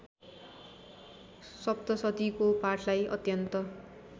सप्तशतीको पाठलाई अत्यन्त